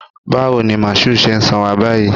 Bawo ni Mashood ṣe sanra báyìí?